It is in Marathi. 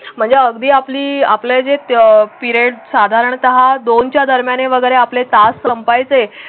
म्हणजे अगदी आपली अं आपल्या जे त्या पिरिअड साधारणतः दोनच्या दरम्यान वगैरे आपले तास संपायचं.